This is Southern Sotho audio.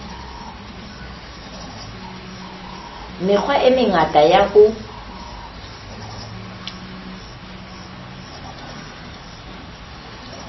mekgwa e mengata ya ho